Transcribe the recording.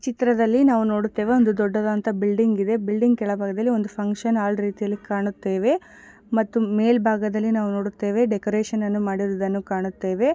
ಚಿತ್ರದಲ್ಲಿ ನಾವು ನೋಡುತ್ತೇವೆ ಒಂದು ದೊಡ್ಡದಾದಂತಹ ಬಿಲ್ಡಿಂಗ್ ಇದೆ. ಬಿಲ್ಡಿಂಗ್ ಕೆಳಭಾಗದಲ್ಲಿ ಒಂದು ಫಂಕ್ಷನ್ ಹಾಲ್ ರೀತಿಯಲ್ಲಿ ಕಾಣುತ್ತೇವೆ ಮತ್ತು ಮೇಲ್ಭಾಗದಲ್ಲಿ ನಾವು ನೋಡುತ್ತೇವೆ ಡೆಕೊರೇಷನ್ ಮಾಡಿರುವುದನ್ನು ಕಾಣುತ್ತೇವೆ.